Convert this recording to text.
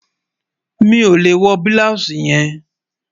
Mi ò lè wọ́ blọúṣì yẹn